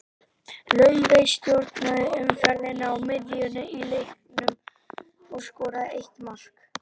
Laufey stjórnaði umferðinni á miðjunni í leiknum og skoraði eitt mark.